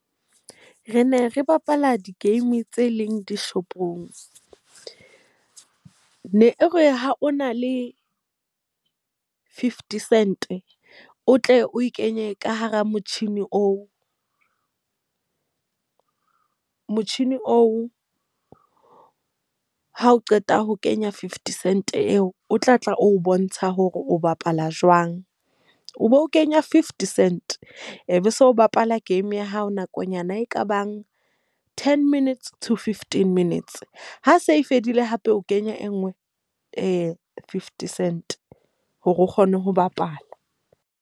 Re ne re bapala di-game tse leng dishopong. Ne re ha o na le fifty cent, o tle o e kenye ka hara motjhini oo. Motjhini oo ha o qeta ho kenya fifty cents eo o tla tla o bontsha hore o bapala jwang. O bo kenya fifty cent. E be se o bapala game ya hao nakonyana e kabang ten minutes to fifteen minutes ha se e fedile hape o kenya e nngwe fifty cents hore o kgone ho bapala.